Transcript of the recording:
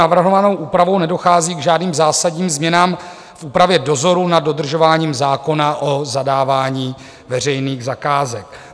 Navrhovanou úpravou nedochází k žádným zásadním změnám v úpravě dozoru nad dodržováním zákona o zadávání veřejných zakázek.